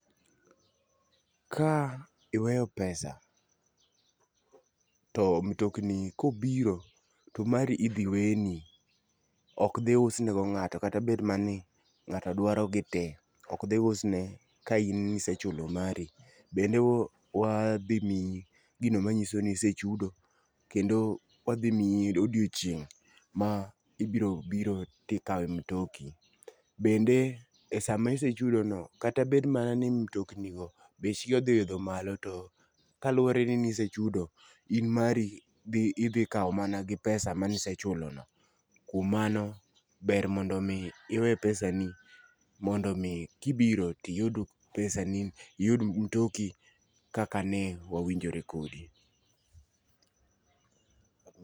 Ka iweyo pesa to mtokni kobiro ,to mari idhi weni, ok dhi usne go ngato kata bed mana ni ng'ato dwaro gi tee, ok dhi usne ka in nisechulo mari. Bende wadhi miyo gino manyiso nisechudo kendo wadhi miyi odiochieng' ma ibo biro tikawe mtoki. Bende e sama isechudo no kata bed mana ni mtokni go bech gi odhi idho malo kaluwore ni ne isechudo in mari dhi idhi kawo mana gi pesa mani sechulko no. Kuom mano, ber mondo mi iwe pesa ni mondi mi kibiro tiydu pesa ni iyud mtoki kaka ne wawinjore kodi